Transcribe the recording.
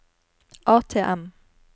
ATM